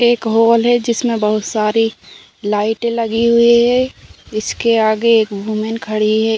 एक हॉल है जिसमें बहोत सारे लाइट लगी हुई हैं। इसमें आगे एक वुमेन खड़ी है।